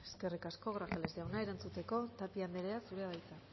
eskerrik asko grajales jauna erantzuteko tapia andrea zurea da hitza